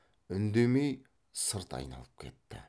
үндемей сырт айналып кетті